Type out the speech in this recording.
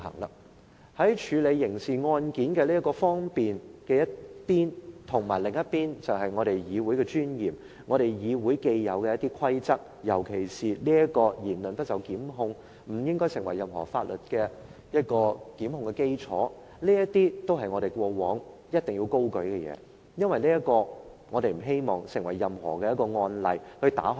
一方面要方便處理刑事案件，另一方面要顧及議會的尊嚴和既有的規則，尤其是"言論不受檢控"、言論不應該成為任何法律檢控的基礎，這些都是我們過往高舉的原則，因為我們不希望打開任何缺口而成為一個案例。